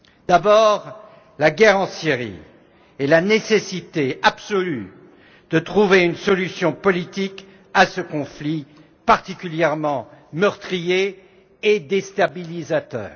D'abord la guerre en Syrie et la nécessité absolue de trouver une solution politique à ce conflit particulièrement meurtrier et déstabilisateur.